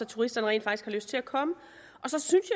turisterne rent faktisk har lyst til at komme så synes